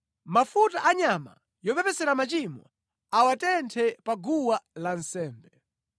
Mafuta a nyama yopepesera machimo awatenthe pa guwa lansembe.